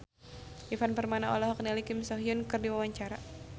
Ivan Permana olohok ningali Kim So Hyun keur diwawancara